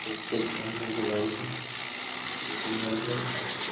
দেখতে খুভালো লাগছে বাড়িটি খুব সুন্দর আছে পাশে।